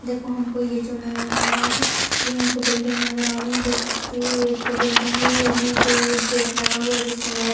देखो हमको ये जो नजर आ रहा है ये हमको बिल्डिंग नजर आ रही है देख सकती है एक जो बिल्डिंग है ये निचे एक गेट लगा हुआ है जिसमें लौक --